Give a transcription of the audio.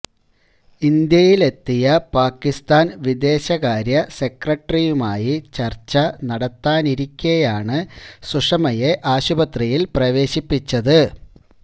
ഇന്ത്യയിലെത്തിയ പാകിസ്താന് വിദേശകാര്യ സെക്രട്ടറിയുമായി ചര്ച്ച നടത്താനിരിക്കെയാണ് സുഷമയെ ആശുപത്രിയില് പ്രവേശിപ്പിച്ചത്